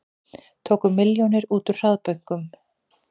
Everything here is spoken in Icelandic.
Tóku milljónir út úr hraðbönkum